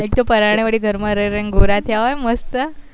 એક તો પરને ઘર માં રઈ રઈ ને ગોરા થયા હોય મસ્ત